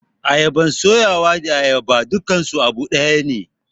ayabar suyawa da ayaba dukansu abu dayane.